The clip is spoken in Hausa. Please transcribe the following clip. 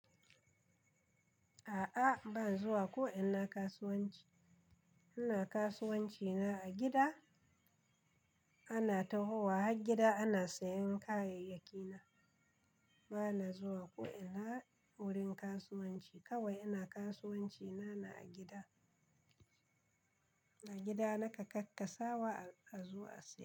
A'a, ba zan zuwa ko'ina kasuwanci. Ina kasuwanci na a gida, ana tahowa har gida ana sayan kayayyakina. Ba na zuwa ko'ina wurin kasuwanci. Kawai ina kasuwanci na a gida. A gida nake kakkasawa, a zo a saya.